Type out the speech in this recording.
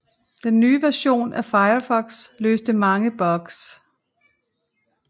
Den nye version af Firefox løste mange bugs